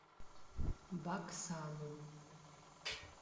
баксану